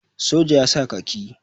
soja ya sa kaki